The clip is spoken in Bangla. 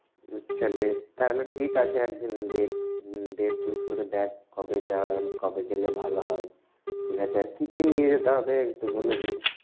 আচ্ছা বেশ! তাহলে ঠিক আছে একদিন date date choose করে দেখ কবে যাওয়া কবে গেলে ভালো হয়। ঠিক আছে? আর কি কি নিয়ে যেতে হবে একটু বলে দিস।